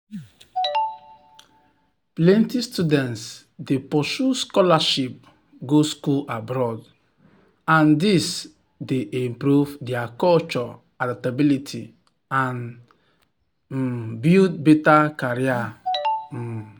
plenty students dey pursue scholarship go school abroad and this dey improve their culture adaptability and um build better career. um